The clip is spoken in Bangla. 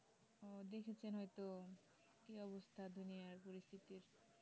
কিছু সময় তো কি অবস্থা দুনিয়ার পরিস্থিতি